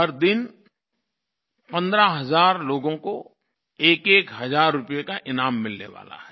हर दिन पंद्रह हज़ार लोगों को एकएक हज़ार रूपये का ईनाम मिलने वाला है